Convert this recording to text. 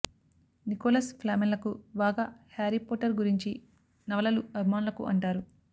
Nicholas ఫ్లామెల్లకు బాగా Harry Potter గురించి నవలలు అభిమానులకు అంటారు